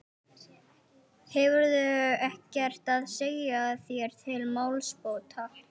Hefurðu ekkert að segja þér til málsbóta.